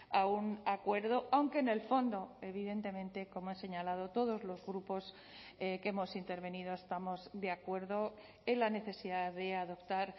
a un acuerdo aunque en el fondo evidentemente como he señalado todos los grupos que hemos intervenido estamos de acuerdo en la necesidad de adoptar